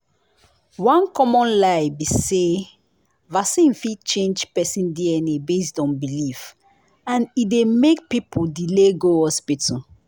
one common lie be say vaccine fit change person dna based on belief and e dey make people delay go hospital.